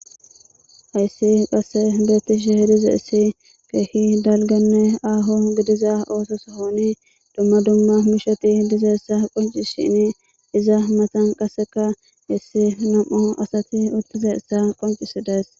Ayssi qasse beettishe hidiza issi keehi dalganne aaho gidiza oosos hooni dumma dumma mishati dizayssa qoncishini iza matan qasseka hissi nam7u asati uttizaessa qoncisidays.